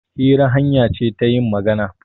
Hira hanya ce ta yin magana.